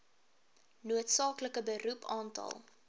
noodsaaklike beroep aantal